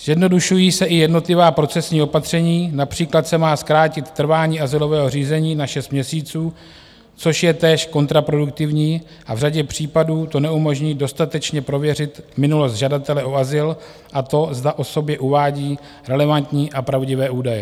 Zjednodušují se i jednotlivá procesní opatření, například se má zkrátit trvání azylového řízení na šest měsíců, což je též kontraproduktivní, a v řadě případů to neumožní dostatečně prověřit minulost žadatele o azyl a to, zda o sobě uvádí relevantní a pravdivé údaje.